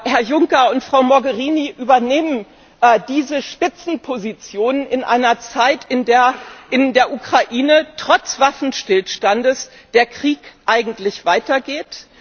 Herr Juncker und Frau Mogherini übernehmen diese Spitzenpositionen in einer Zeit, in der in der Ukraine trotz Waffenstillstands der Krieg eigentlich weitergeht.